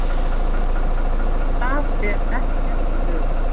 Þar er ekkert ör.